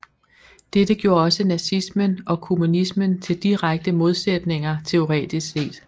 Dette gjorde også nazismen og kommunismen til direkte modsætninger teoretisk set